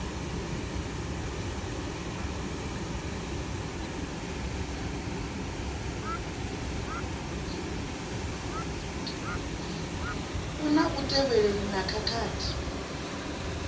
a lu tevhelelei na khathihi